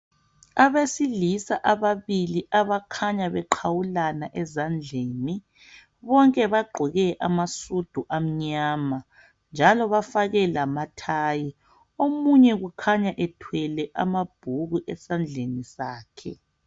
Abesilisa ababili abakhanya beqhawulana ezandleni, bonke bagqoke amasudu amnyama njalo bafake lamathayi. Omunye kukhanya ethwele amabhuku esandleni sakhe.